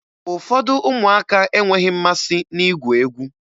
Ụfọdụ ụmụaka enweghi mmasị na-igwu egwu.